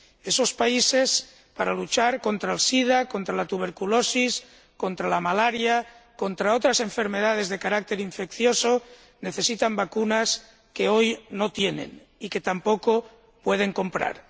Esos países, para luchar contra el sida, contra la tuberculosis, contra la malaria, contra otras enfermedades de carácter infeccioso, necesitan vacunas que hoy no tienen y que tampoco pueden comprar.